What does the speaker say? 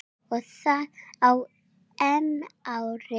Og það á EM-ári.